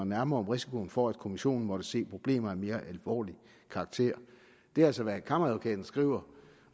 nærmere om risikoen for at kommissionen måtte se problemer af mere alvorlig karakter det er altså hvad kammeradvokaten skriver